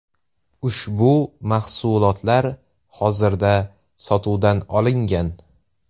Ushbu mahsulotlar hozirda sotuvdan olingan.